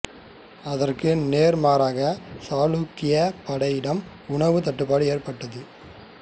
அதற்கு நேர் மாறாகச் சாளுக்ய படையிடம் உணவு தட்டுப்பாடு ஏற்பட்டது